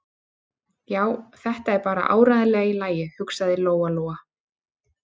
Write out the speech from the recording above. Já, þetta er bara áreiðanlega í lagi, hugsaði Lóa-Lóa.